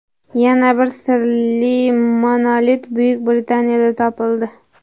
Yana bir sirli monolit Buyuk Britaniyada topildi.